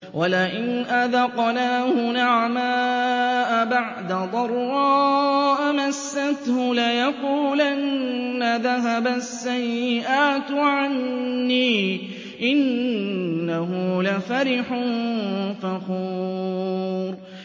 وَلَئِنْ أَذَقْنَاهُ نَعْمَاءَ بَعْدَ ضَرَّاءَ مَسَّتْهُ لَيَقُولَنَّ ذَهَبَ السَّيِّئَاتُ عَنِّي ۚ إِنَّهُ لَفَرِحٌ فَخُورٌ